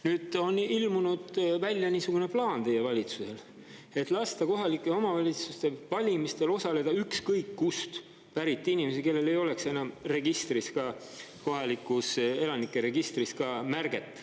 Nüüd on ilmunud välja niisugune plaan teie valitsusel, et lasta kohalike omavalitsuste valimistel osaleda ükskõik kust pärit inimesi, kellel ei oleks enam registris, ka kohalikus elanike registris märget.